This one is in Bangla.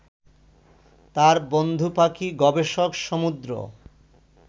তার বন্ধু পাখি গবেষক সমুদ্র